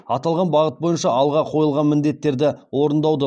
аталған бағыт бойынша алға қойылған міндеттерді орындаудың